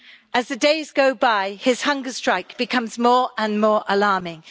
As the days go by, his hunger strike becomes more and more alarming.